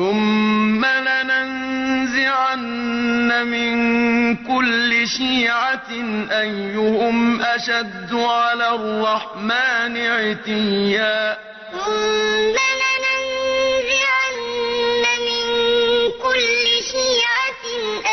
ثُمَّ لَنَنزِعَنَّ مِن كُلِّ شِيعَةٍ أَيُّهُمْ أَشَدُّ عَلَى الرَّحْمَٰنِ عِتِيًّا ثُمَّ لَنَنزِعَنَّ مِن كُلِّ شِيعَةٍ